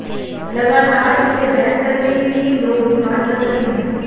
लगातार इसे बैन करने के लिए लोग डिमांड कर रहे हैं